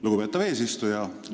Lugupeetav eesistuja!